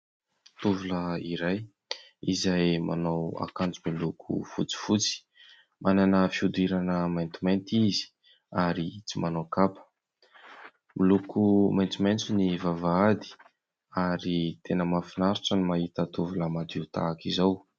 Tovolahy iray izay manao akanjo miloko fotsifotsy, manana fihodirana maintimainty izy ary tsy manao kapa. Miloko maitsomaitso ny vavahady ary tena mahafinaritra ny mahita tovolahy madio tahaka izao.